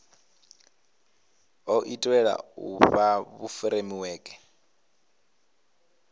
o itelwa u fha furemiweke